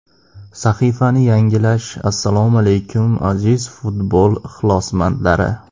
Sahifani yangilash Assalomu alaykum, aziz futbol ixlosmandlari.